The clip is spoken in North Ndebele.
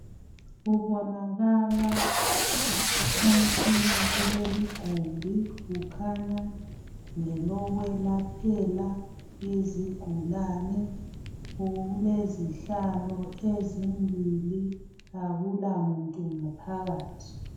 Kubonakala umtshina kuleli igumbi .Kukhanya ngelokwelaphela izigulane. Kulezihlalo ezimbili. Akula muntu ngaphakathi.